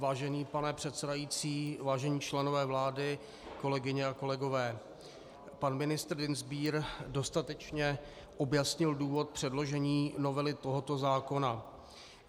Vážený pane předsedající, vážení členové vlády, kolegyně a kolegové, pan ministr Dienstbier dostatečně objasnil důvod předložení novely tohoto zákona.